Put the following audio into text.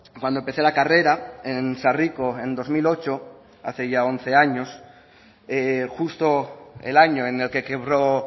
cuando empecé la carrera en sarriko en dos mil ocho hace ya once años justo el año en el que quebró